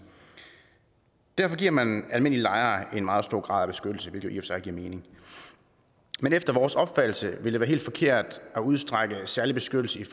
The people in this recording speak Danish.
derfor giver man almindelige lejere en meget stor grad af beskyttelse hvilket jo sig giver mening men efter vores opfattelse vil det være helt forkert at udstrække den særlige beskyttelse